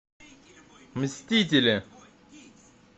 мстители